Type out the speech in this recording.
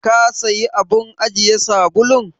Ka sayi abun ajiye sabulun?